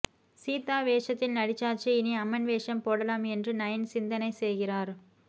சீதா வேஷத்தில் நடிச்சாச்சு இனி அம்மன் வேஷம் போடலாம் என்று நயன் சிந்தனை செய்கிறார்